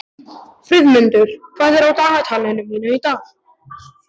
Friðmundur, hvað er á dagatalinu mínu í dag?